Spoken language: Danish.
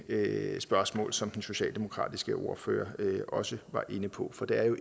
spørgsmål som den socialdemokratiske ordfører også var inde på for det er jo